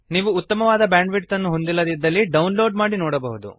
ನೀವು ಉತ್ತಮವಾದ ಬ್ಯಾಂಡ್ವಿಡ್ತ್ ಅನ್ನು ಹೊಂದಿಲ್ಲದಿದ್ದರೆ ಡೌನ್ಲೋಡ್ ಮಾಡಿ ನೋಡಬಹುದು